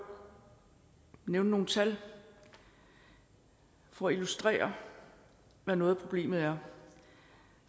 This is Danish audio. nævne nogle tal for at illustrere hvad noget af problemet er